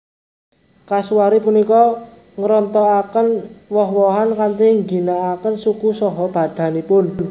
Kasuari punika ngrontokaken woh wohan kanthi ngginakaken suku saha badanipun